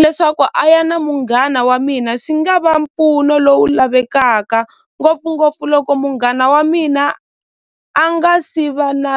leswaku a ya na munghana wa mina swi nga va mpfuno lowu lavekaka ngopfungopfu loko munghana wa mina a nga si va na .